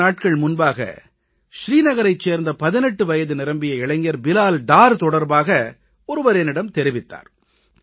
சில நாட்கள் முன்பாக ஸ்ரீநகரைச் சேர்ந்த 18 வயது நிரம்பிய இளைஞர் பிலால் டார் தொடர்பாக ஒருவர் என்னிடம் தெரிவித்தார்